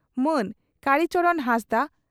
ᱢᱟᱹᱱ ᱠᱟᱲᱤ ᱪᱚᱨᱚᱬ ᱦᱟᱸᱥᱫᱟᱜ